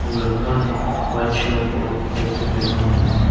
लड़का ने white shirt और ब्लैक पैंट पेहना हुआ है।